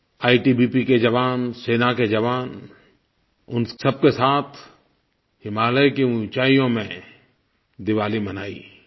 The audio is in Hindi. आईटीबीपी के जवान सेना के जवान उन सबके साथ हिमालय की ऊंचाइयों में दिवाली मनाई